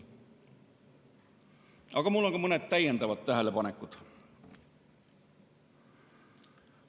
Aga mul on ka mõned täiendavad tähelepanekud.